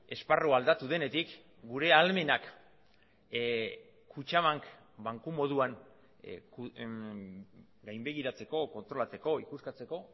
esparrua aldatu denetik gure ahalmenak kutxabank banku moduan gainbegiratzeko kontrolatzeko ikuskatzeko